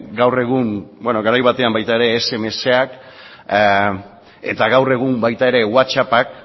gaur egun beno garai batean baita ere smsak eta gaur egun baita ere whatsappak